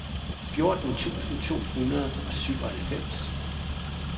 fjorten tusind to hundrede og syvoghalvfems